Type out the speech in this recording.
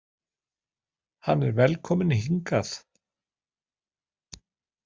Hann er velkominn hingað.